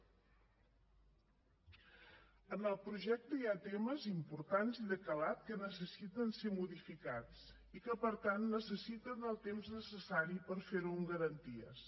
en el projecte hi ha temes importants i de calat que necessiten ser modificats i que per tant necessiten el temps necessari per fer ho amb garanties